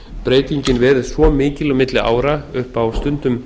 breytingin verið svo mikil á milli ára upp á stundum